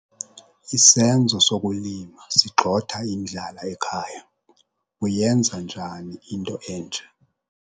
Isenzo sokulima sigxotha indlala ekhaya. uyenza njani into enje?